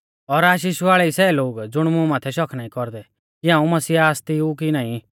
और आशीष वाल़ै ई सै लोग ज़ुण मुं माथै शक नाईं कौरदै कि हाऊं मसीहा आसती ऊ कि नाईं